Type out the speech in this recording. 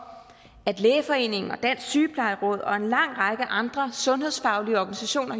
at lægeforeningen dansk sygeplejeråd jordemoderforeningen og en lang række andre sundhedsfaglige organisationer